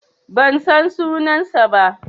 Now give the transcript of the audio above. Ban san sunansa ba.